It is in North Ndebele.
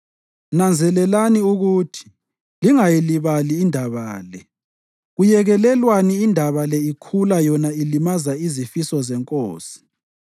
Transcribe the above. Nanzelelani ukuthi lingayilibali indaba le. Kuyekelelwani indaba le ikhula yona ilimaza izifiso zenkosi?